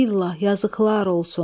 Bilah yazıklar olsun.